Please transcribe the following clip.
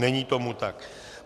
Není tomu tak.